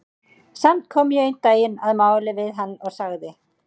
Samt kom ég einn daginn að máli við hann og sagði